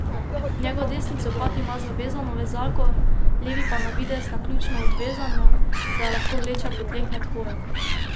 Njegov desni copat ima zavezano vezalko, levi pa navidez naključno odvezano, da jo lahko vleče po tleh med hojo.